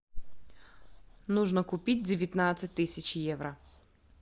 нужно купить девятнадцать тысяч евро